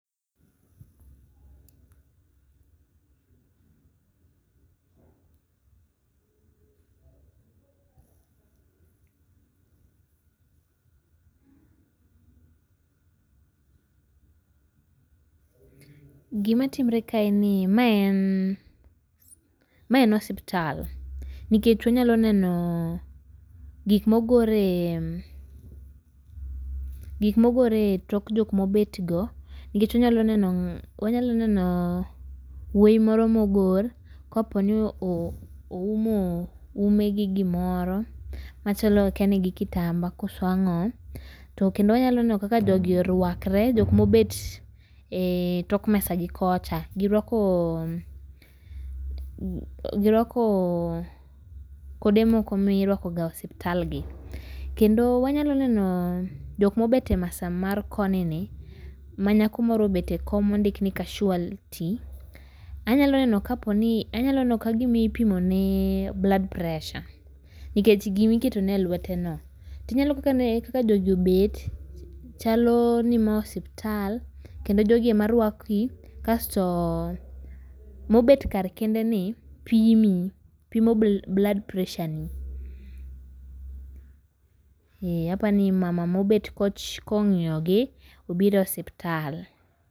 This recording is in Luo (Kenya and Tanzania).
Gima timre ka en ni ,mae en mae en osiptal. Nikech unyalo neno gik mogore gik mogore tok jok mobet go. Nikech wanyalo neno unyalo neno wuoi moro mogor koponi oumo ume gi gimoro machalo akiani kitambaa koso ang'o. To kendo anyalo neno kaka jogi orwakre jok mobet etok mesa gi kocha. Gi rwakoo gi rwakoo kode moko mirwako ga e osiptal gi. kendo wanyalo neno jok mobet e mesa mar koni ni ma nyako moro obet ekom mondik ni casualty. Anyalo kaponi anyalo neno ka gima ipimonee blood pressure nikech gima iketo ne elweteno. Ti ineno ne kaka jogi obet chalo ni mae osiptal kendo jogi ema rwaki kasto mobet kar kende ni pimi, pimo blood pressure ni. Ee, apani mama mobet koch kong'iyo gi obiro osiptal.